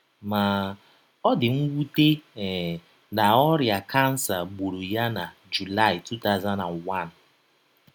Ma, ọ dị mwute um na ọrịa kansa gbụrụ ya na July 2001.